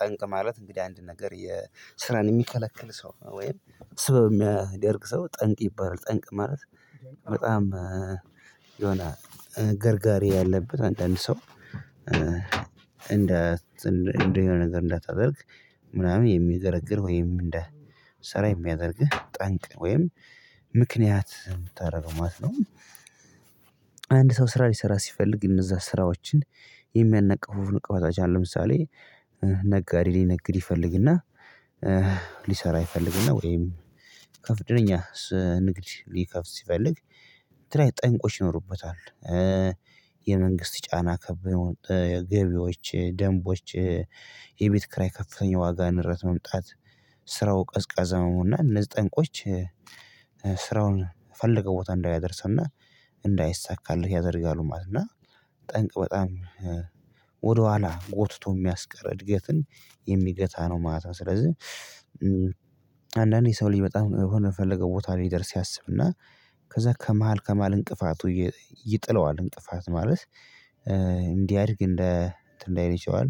ጠንቅ ማለት እንግዲህ አንድ ነገር የስራን የሚከለክል ሰው ወይም ስበብ የሚያደርግ ሰው ጠንቅ ይባላል። ጠንቅ ማለት በጣም የሆነ ገርጋሪ ያለበት አንዳንድ ሰው እንደ እንደ የሆነ ነገር እንዳታደርግ ምናምን የሚገርግር ወይም እንደ ስራ የሚያደርግህ ጠንቅ ወይም ምክንያት የምታደርገው ማለት ነው። አንድ ሰው ስራ ሊሰራ ሲፈልግ እነዛ ስራዎችን የሚያነቃፉ ንቅፈቶች አለ ለምሳሌ ነጋዴ ሊነግድ ይፈልግና ሊሰራ ይፈልግና ወይም ከፍድነኛ ንግድ ሊከፍት ሲፈልግ ክራይ ጠንቆች ይኖሩበታል የመንግስት ጫና ከበየው ገቢዎች ደንቦች የቤት ክራይ ከፍተኛ ዋጋ ንረት መምጣት ስራው ቀዝቃዛውና እነዚህ ጠንቆች ስራውን ፈልገው ቦታ እንዳይደርሰውና እንዳይሳካልህ ያደርጋሉ ማለት ነው እና ጠንቅ በጣም ወደኋላ ጎትቶ የሚያስቀር እድገትን የሚገታ ነው ማለት ነው ስለዚህ አንዳንዴ ሰው ልጅ በጣም የሆነ የፈለገው ቦታ ላይ ይደርስ ያስብና ከዛ ከመሃል ከመሃል እንቅፋቱ ይጥለዋል። እንቅፋት ማለት እንዲያድግ እንደ እንትን እንዳይረጨዋል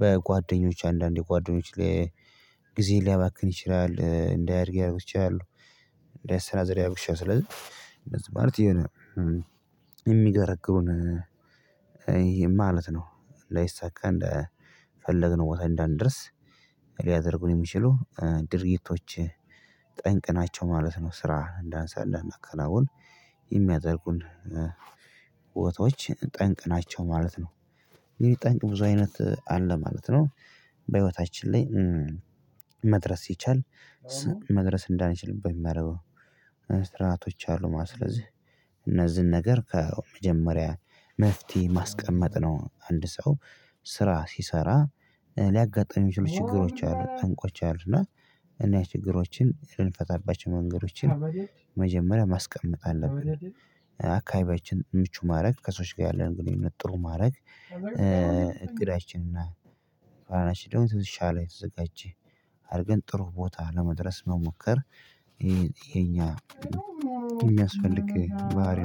በጓደኞች አንዳንዴ ጓደኞች ላይ ጊዜ ሊያባክን ይችላል እንዳያድግ ልያረጉ ይችላሉ እንዳያሰናዝሬ ያደርግሻል ስለዚህ እንደዚህ ማለት የሆነ የሚገርግሩን ይሄ ማለት ነው ላይሳካ እንደፈለግነው ቦታ እንዳንደርስ ሊያደርጉን የሚችሉ ድርጊቶች ጠንቅናቸው ማለት ነው ስራ እንዳንሳ አንዳናከናዉን የሚያደርጉን ቦታዎች ጠንቅ ናቸው ማለት ነው። አንግድህ ጠንቅ ብዙ አይነት አለ ማለት ነው። በህይወታችን ላይ መድረስ ይቻል መድረስ እንዳንችልበት የማረገው ስራቶች አሉ ማለት እነዚህን ነገር ከመጀመሪያ መፍትሄ ማስቀመጥ ነው አንድ ሰው ስራ ሲሰራ ሊያጋጥሙ ይችሉ ችግሮች አሉ ጠንቆች አሉ እና እንዲ አይነት ችግሮችን የልንፈታባቸው መንገዶችን መጀመሪያ ማስቀመጥ አለብን አካባቢያችን ምቹ ማድረግ ከሰዎች ጋር ያለን ግንኙነት ጥሩ ማረግ እቅዳችንና ካራችን ደግሞ ትዝቻ ላይ ተዘጋጅቼ አድርገን ጥሩ ቦታ ለመድረስ መሞከር ይሄ የኛ የሚያስፈልግ ባህሪ